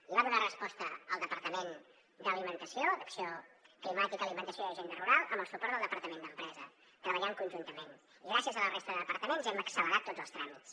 hi va donar resposta el departament d’acció climàtica alimentació i agenda rural amb el suport del departament d’empresa treballant conjuntament i gràcies a la resta de departaments hem accelerat tots els tràmits